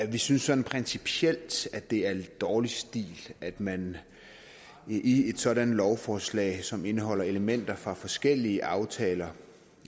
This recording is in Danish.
vi synes principielt at det er dårlig stil at man i et sådant lovforslag som indeholder elementer fra forskellige aftaler